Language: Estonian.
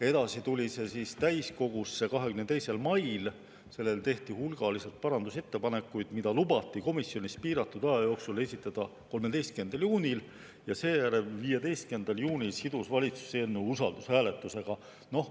Edasi tuli see täiskogusse 22. mail, selle kohta tehti hulgaliselt parandusettepanekuid, mida lubati komisjonis piiratud aja jooksul esitleda 13. juunil, ja seejärel, 15. juunil, sidus valitsus eelnõu usaldushääletusega.